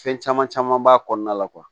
Fɛn caman caman b'a kɔnɔna la